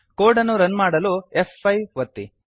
code ಅನ್ನು run ಮಾಡಲು F five ಒತ್ತಿ